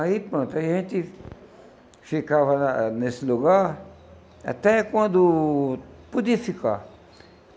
Aí pronto, a gente ficava na nesse lugar até quando podia ficar.